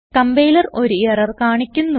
compiler ഒരു error കാണിക്കുന്നു